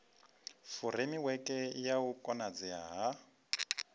furemiweke ya u konadzea ha